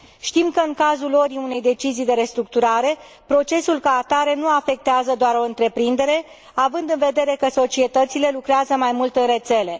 Știm că, în cazul luării unei decizii de restructurare, procesul ca atare nu afectează doar o întreprindere, având în vedere că societățile lucrează mai mult în rețele.